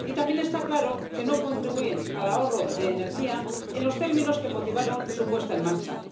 Y también está claro que no contribuyen al ahorro de energía en los términos que motivaron su puesta en marcha.